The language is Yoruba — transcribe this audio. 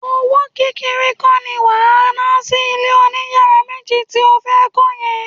Owó kékeré kọ́ ni wà á ná sí ilé oníyàrá méjì tí ó fẹ́ kọ́ yẹn